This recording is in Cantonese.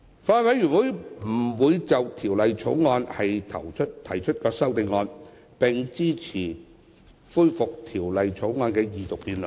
法案委員會不會就《條例草案》提出修正案，並支持恢復《條例草案》的二讀辯論。